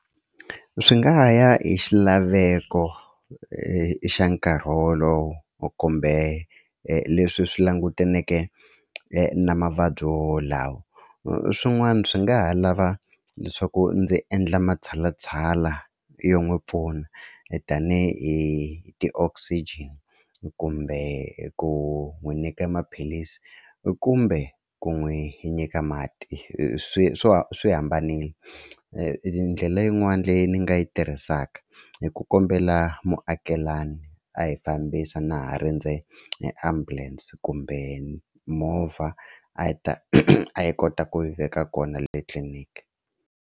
Swi nga ya hi xilaveko i xa nkarhi wolowo kumbe leswi swi langutaneke na mavabyi wowolawo swin'wana swi nga ha lava leswaku ndzi endla matshalatshala yo n'wi pfuna tanihi ti-oxygen kumbe ku n'wi nyika maphilisi kumbe ku n'wi nyika mati swi swo swi hambanile ndlela yin'wani leyi ni nga yi tirhisaka i ku kombela muakelani a hi fambisa na ha rindze e ambulance kumbe movha a hi ta a yi kota ku yi veka kona le tliliniki.